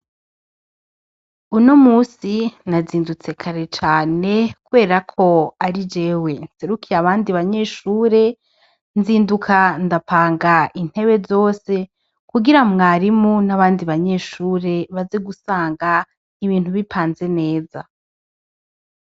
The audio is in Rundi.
Unomunsi nazindutse kare cane kuberako ari jewe nserukiye abandi banyeshure nzinduka ndapanga intebe zose kugira mwarimu nabandi banyeshure baze gusanga ibintu bipanze neza